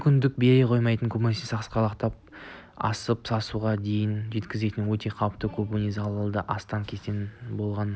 мүмкіндік бере қоймайтын көбіне сасқалақтап асып-сасуға дейін жеткізетін өте қауіпті көбіне залалды астан-кестен болған ішкі